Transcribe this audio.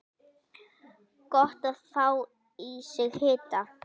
Gott að fá í sig hita.